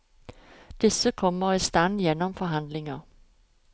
Disse kommer i stand gjennom forhandlinger.